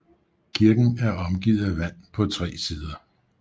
Kirken er omgivet af vand på tre sider